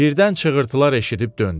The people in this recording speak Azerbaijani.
Birdən çığırtılar eşidib döndü.